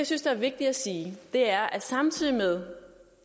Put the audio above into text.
synes er vigtigt at sige er at samtidig med